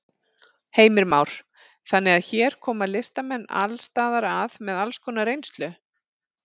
Heimir Már: Þannig að hér koma listamenn alls staðar að með alls konar reynslu?